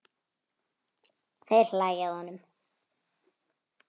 Þeir hlæja að honum.